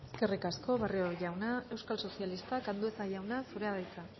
eskerrik asko barrio jauna euskal sozialistak andueza jauna zurea da hitza